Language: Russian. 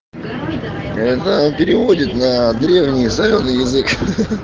это он переводит на древний солёный язык